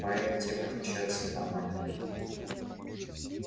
поэты тем и отличаются от нормальных людей